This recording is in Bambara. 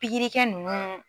Pikirikɛ nunnu.